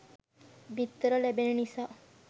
බිත්තර ලැබෙන නිසා